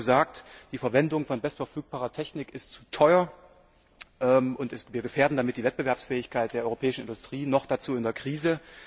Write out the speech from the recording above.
Mir wurde oft gesagt, die Verwendung von bestverfügbarer Technik ist zu teuer und wir gefährden damit die Wettbewerbsfähigkeit der europäischen Industrie, noch dazu in der Krise.